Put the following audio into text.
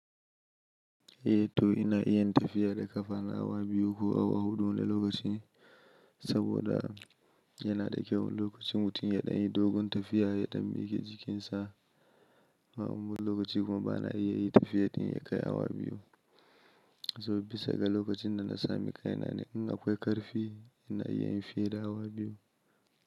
Eh to ina iya yin tafiya da ƙafa na awa biyu ko awa huɗu wani lokaci saboda yana da kyau lokacin mutum ya ɗan yi dogon tafiya ya ɗan mike jikinsa. Wani lokaci kuma bana iya yi tafiya ɗin ya kai awa biyu saboda bisa ga lokacin da na sami kai na. In akwai ƙarfi ina iya yin fiye da awa biyu.